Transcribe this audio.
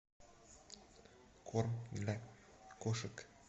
корм для кошек